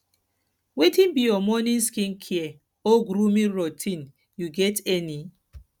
wetin be your morning skincare or grooming routine you get any